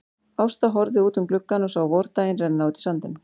Ásta horfði út um gluggann og sá vordaginn renna út í sandinn.